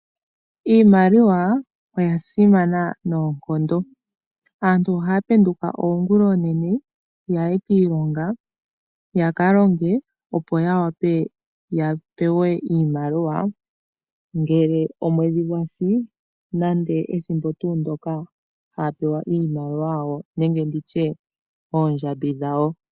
Iimaliwa oya simana noonkondo. Aantu ohaya penduka oonguloonene yaye kiilonga yaka longe, opo ya wape ya pewe iimaliwa ngele omwedhi gwasi nande ethimbo ndoka haya pewa iimaliwa yawo nenge nditye oondjambi dhawo.